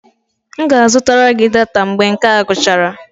M ga-azụta gị data mgbe nke a gwụchara